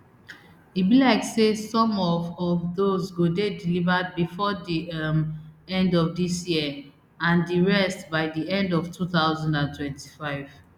e be like say some of of dose go dey delivered bifor di um end of dis year and di rest by di end of two thousand and twenty-five